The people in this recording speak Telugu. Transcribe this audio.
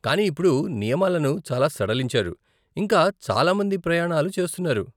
కాని ఇప్పుడు నియమాలను చాలా సడలించారు, ఇంకా చాలా మంది ప్రయాణాలు చేస్తున్నారు.